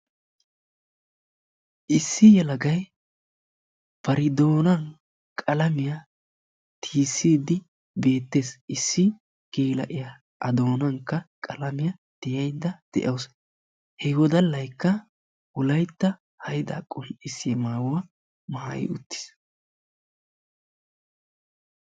issi yelagay bari doonan qalamiyaa tiyysside beettees issi gela'iyaa a doonankk qalamiyaa tiyaydda de'awus he wodallaykka wolaytta haydda qonccissiyaa maayuwa maayyi uttiis.